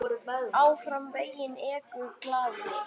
Áfram veginn ekur glaður.